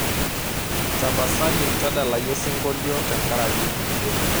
tapasali tadalayu osingolio tenkaraki iyie